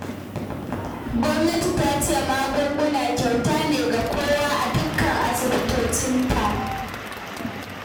Gwamnati ta ce magunguna kyauta ne ga kowa a dukkan asibitocinta